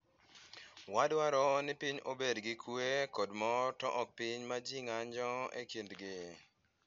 Wadwaro ni piny obed gi kuwe kod mor to ok piny ma ji ng’anjo e kindgi."